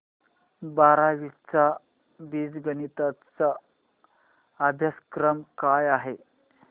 बारावी चा बीजगणिता चा अभ्यासक्रम काय आहे